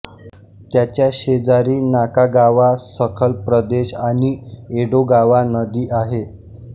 त्याच्या शेजारी नाकागावा सखल प्रदेश आणि एडोगावा नदी आहे